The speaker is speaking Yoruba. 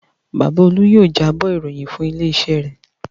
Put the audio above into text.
Bàbá Olú yóò jábọ̀ ìròyìn fún ilé-iṣẹ́ rẹ̀.